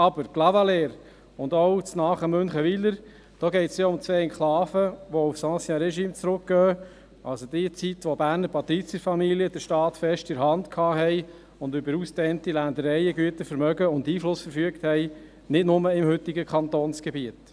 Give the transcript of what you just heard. Aber bei Clavaleyres und auch beim nahe gelegenen Münchenwiler geht es ja um zwei Enklaven, die auf das Ancien Régime zurückgehen, also auf die Zeit, in der Berner Patrizierfamilien den Staat fest in der Hand hielten und über ausgedehnte Ländereien, Güter, Vermögen und Einfluss verfügten, nicht nur im heutigen Kantonsgebiet.